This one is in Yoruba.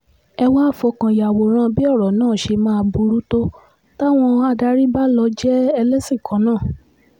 ẹ wàá fọkàn yàwòrán bí ọ̀rọ̀ náà ṣe máa burú tó táwọn adarí bá lọ́ọ́ jẹ́ ẹlẹ́sìn kan náà